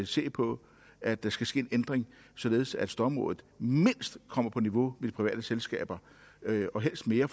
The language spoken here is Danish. se på at der skal ske en ændring således at stormrådet mindst kommer på niveau med de private selskaber og helst mere